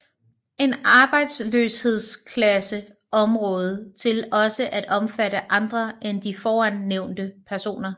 En arbejdsløshedskasse område til også at omfatte andre end de foran nævnte personer